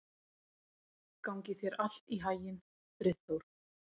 Gangi þér allt í haginn, Friðþór.